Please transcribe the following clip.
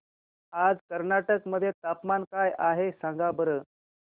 आज कर्नाटक मध्ये तापमान काय आहे सांगा बरं